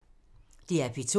DR P2